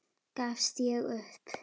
Gafst ég upp?